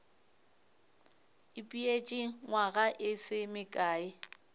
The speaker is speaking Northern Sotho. ipeetše nywaga e se mekae